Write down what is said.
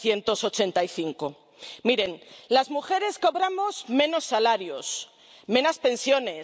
1985. Miren, las mujeres cobramos menos salarios, menos pensiones